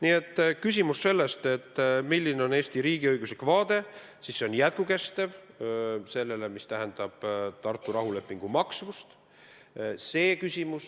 Nii et kui on küsimus, milline on Eesti riigiõiguslik vaade, siis see on, et Tartu rahuleping on jõus.